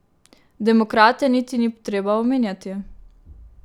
Demokrate niti ni treba omenjati.